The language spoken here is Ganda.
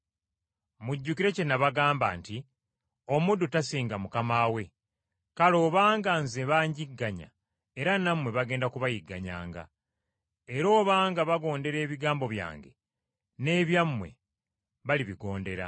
Mujjukire kye nabagamba nti, ‘Omuddu tasinga mukama we.’ Kale obanga Nze banjigganya era nammwe bagenda kubayigganyanga. Era obanga baagondera ebigambo byange n’ebyammwe balibigondera.